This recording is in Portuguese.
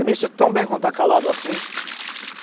Eu me sinto tão bem quando está calado assim.